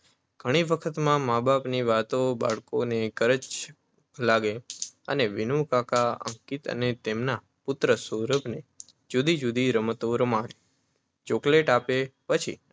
ઘણી વાર બાળકોને મા-બાપની વાતો કચકચ લાગતી હોય છે. જ્યારે વિનુકાકા અંકિત અને એમના પુત્ર સૌરભને જુદી જુદી રમતો રમાડે, ચૉકલેટ આપે અને પછી